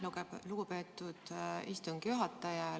Aitäh, lugupeetud istungi juhataja!